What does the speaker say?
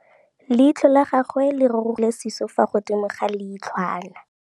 Leitlhô la gagwe le rurugile ka gore o tswile sisô fa godimo ga leitlhwana.